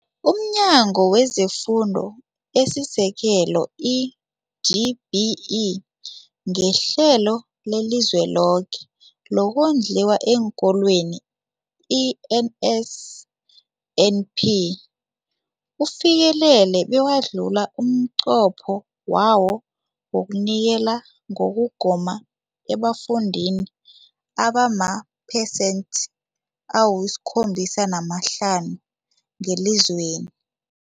UmNyango wezeFundo esiSekelo, i-DBE, ngeHlelo leliZweloke lokoNdliwa eenKolweni, i-NSNP, ufikelele bewadlula umnqopho wawo wokunikela ngokugoma ebafundini abamaphesenthe awo-75 ngelizweni.